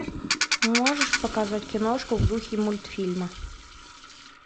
можешь показать киношку в духе мультфильма